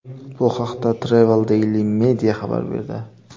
Bu haqda Travel Daily Media xabar berdi .